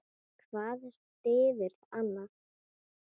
Hvað styður annað.